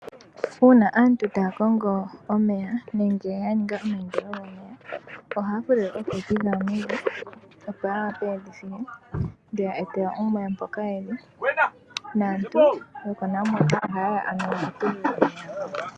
Uuna aantu taya kongo omeya nenge ya ninga omayindilo gomeya ohaya fulile ominino dhawo dhomeya mevi opo ya wa pe ye dhi file. Aantu yokoNamwater ohaye ya ano ye dhi tule omeya.